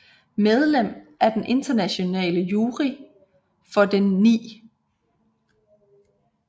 Medlem af den internationale jury for den 9